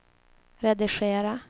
redigera